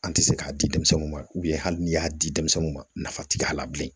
An tɛ se k'a di denmisɛnninw ma hali n'i y'a di denmisɛninw ma nafa tɛ k'a la bilen